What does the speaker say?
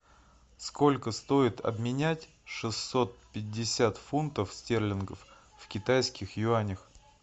сколько стоит обменять шестьсот пятьдесят фунтов стерлингов в китайских юанях